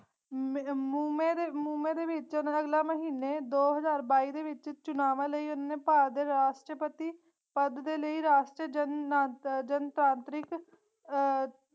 ਮੁਮੇ ਦੇ ਮੁਮੇ ਦੇ ਵਿਚ ਓਨੇ ਅਗਲੇ ਮਹੀਨੇ ਦੋ ਹਜ਼ਾਰ ਬਾਈ ਦੇ ਵਿਚ ਚੁਨਾਵਾ ਲਈ ਓਹਨਾ ਨੇ ਭਾਰਤ ਦੇ ਰਾਸ਼੍ਟ੍ਰਪਤੀ ਪਦ ਦੇ ਲਈ ਰਾਸ਼ਟਰ ਜਨ ਨ ਜਨ ਤਾਂਤਰਿਕ ਅਹ